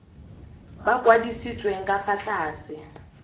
ba kwadisitsweng ka fa tlase